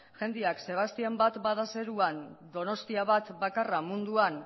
jendeak sebastián bat bada zeruan donostia bat bakarra munduan